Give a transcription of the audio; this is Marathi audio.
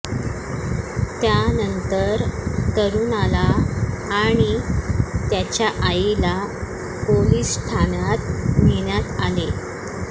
त्यानंतर तरूणाला आणि त्याच्या आईला पोलीस ठाण्यात नेण्यात आले